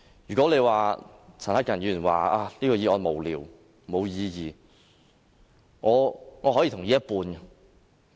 如果陳克勤議員說這項議案無聊、無意義，我可以同意一半。